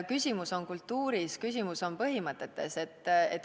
Küsimus on kultuuris, küsimus on põhimõtetes.